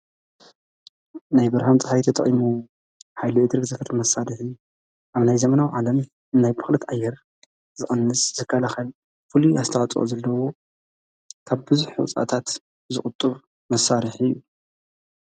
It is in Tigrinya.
ናይ ብርሃን ፀሓይ ተጠቂሙ ኃይሉ እድሪክ ዘፍር መሣሪሕን ኣብ ናይ ዘመናዊ ዓለም እናይ ብኽልት ኣየር ዝቐንስ ዝካልኻል ፍሉ ኣስተዓፅዖ ዘልደዉ ካብ ብዙኅ ሕዉፃእታት ዝቑጥብ መሳሪሕ እዩ።